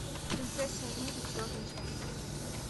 принцесса нури черный чай